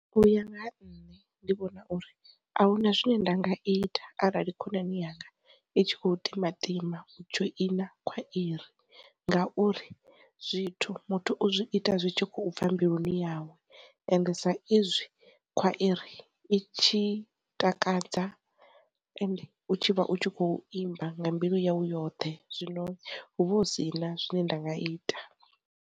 U ya nga ha nṋe, ndi vhona uri ahuna zwine nda nga ita arali khonani yanga i tshi kho timatima u dzhoina khwairi ngauri zwithu muthu u zwi ita zwi tshi khou bva mbiluni ndi yawe ende sa izwi khwairi i tshi takadza ende u tshi vha u tshi kho imba nga mbilu yawu yoṱhe, zwino hu vha hu si na zwine nda nga ita.